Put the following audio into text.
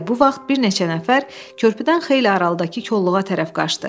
Elə bu vaxt bir neçə nəfər körpüdən xeyli aralıdakı koluğa tərəf qaçdı.